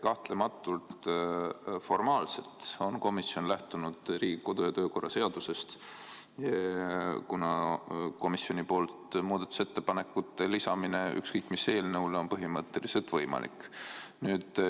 Kahtlemata, formaalselt on komisjon lähtunud Riigikogu kodu- ja töökorra seadusest, kuna komisjoni poolt muudatusettepanekute lisamine ükskõik mis eelnõule on põhimõtteliselt võimalik.